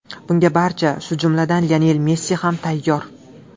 Bunga barcha, shu jumladan, Lionel Messi ham tayyor.